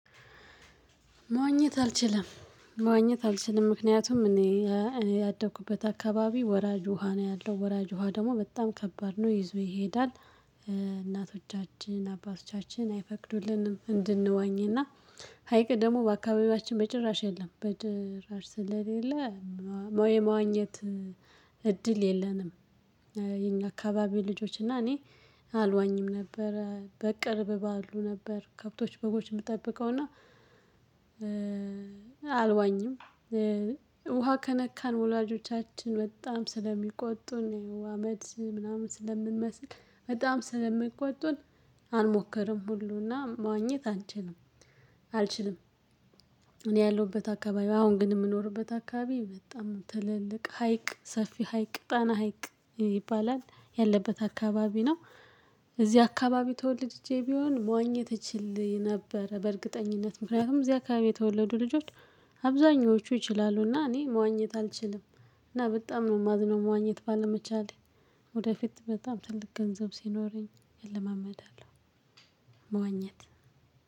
መዋኘት አልችልም ማወኘት አልችልም ምክንያቱም እኔ እኔ ያደኩበት አካባቢ ወራጅ ውሃ ነው ያለው ወራጅ ውሃ ደግሞ በጣም ከባድ ነው ይዞ ይሄዳል። እናቶቻችን አባቶቻችን አይፈቅዱልንም እንድንዋኝ እና ሀይቅ ደግሞ በአካባቢያችን መጨረሻ የለም በድራር ስለሌለ። ሞይ መዋኘት እድል የለንም። የኛ አካባቢ ልጆች እና እኔ አልዋኝም ነበረ በቅርብ ባሉ ነበር ከብቶች በጎች የምትጠብቀው እና። አልዋኝም ውሃ ከነካን ወላጆቻችን በጣም ስለሚቆጡን አመድ ምናምን ስለምንመስል በጣም ስለምንቆጡን። አልሞክርም ሁሉና መዋኘት አንችልም አልችልም። እኔ ያለሁበት አካባቢው አሁን ግን የምኖርበት አካባቢ በጣም ትልልቅ ሀይቅ ሰፊ ሀይቅ ቅጣና ሀይቅ ይባላል ያለበት አካባቢ ነው። እዚህ አካባቢ ተወልድጄ ቢሆን መዋኘት እትችል ነበረ በእርግጠኝነት ምክንያቱም እዚህ አካባቢ የተወለዱ ልጆች። አብዛኞቹ ይችላሉና እኔ መዋኘት አልችልም። እና በጣም ነው የማዝነው መዋኘት ባለመቻሌ። ወደፊት በጣም ትልቅ ገንዘብ ሲኖረኝ እለማመዳለሁ። መዋኘት